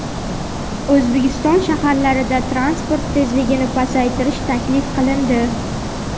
O‘zbekiston shaharlarida transport tezligini pasaytirish taklif qilindi.